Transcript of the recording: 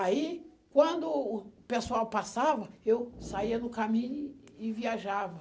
Aí, quando o pessoal passava, eu saía no caminho e viajava.